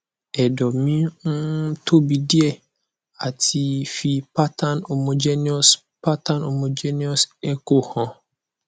edo me um tobi die ati fi pattern homogenous pattern homogenous echo han